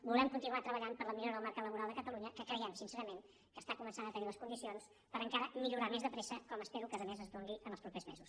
volem continuar treballant per la millo ra del mercat laboral de catalunya que creiem sincerament que està començant a tenir les condicions per encara millorar més de pressa com espero que a més es doni en els propers mesos